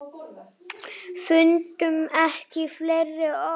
Fundum ekki fleiri orð.